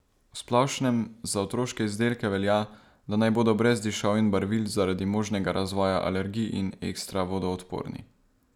V splošnem za otroške izdelke velja, da naj bodo brez dišav in barvil zaradi možnega razvoja alergij in ekstra vodoodporni.